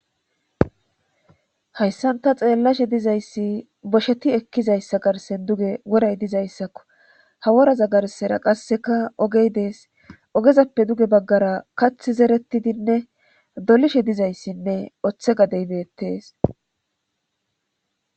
Hayssanta xeellashe dizayssi bosheti ekkizayssa garsen duge woray dizayssakko ha woraza garsera qasseka ogey dees ogezappe duge baggara kath zerettidinne dolishe dizayssinne oththe gadeybeettees